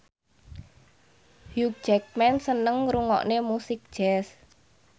Hugh Jackman seneng ngrungokne musik jazz